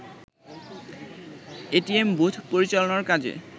ATM booth পরিচালনার কাজে